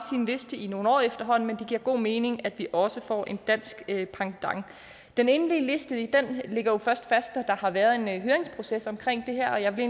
liste i nogle år efterhånden men det giver god mening at vi også får en dansk pendant den endelige liste ligger først fast når der har været en høringsproces om det her og jeg vil